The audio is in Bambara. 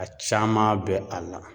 A caman bɛ a la.